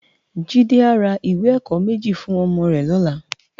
Jide á rá iwé èkò mèji fún òmò rè lòlá